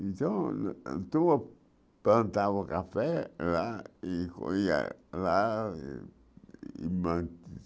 Então, plantava o café lá e corria lá e.